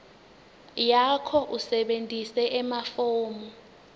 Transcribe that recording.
yakho usebentise emafomu